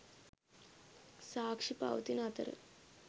සාක්‍ෂි පවතින අතර